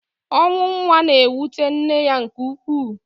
ọnwụ nwa na-ewute nne ya nke ukwuu.